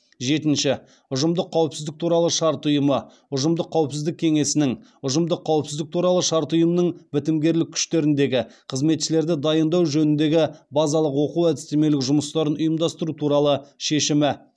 жетінші ұжымдық қауіпсіздік туралы шарт ұйымы ұжымдық қауіпсіздік кеңесінің ұжымдық қауіпсіздік туралы шарт ұйымының бітімгерлік күштеріндегі қызметшілерді дайындау жөніндегі базалық оқу әдістемелік жұмыстарын ұйымдастыру туралы шешімі